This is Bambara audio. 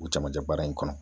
U camancɛ baara in kɔnɔ